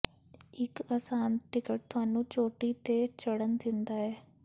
ਇੱਕ ਅਸਾਨ ਟਿਕਟ ਤੁਹਾਨੂੰ ਚੋਟੀ ਤੇ ਚੜ੍ਹਨ ਦਿੰਦਾ ਹੈ